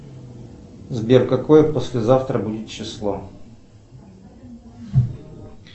сбер какое послезавтра будет число